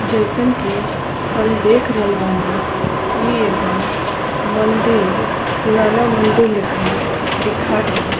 जईसन की हम देख रहल बानी ई एगो मंदिर पुराना मंदिल लेखा दिखाता।